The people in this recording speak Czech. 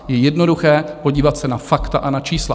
Je jednoduché podívat se na fakta a na čísla.